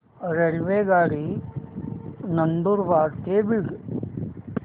रेल्वेगाडी नंदुरबार ते बीड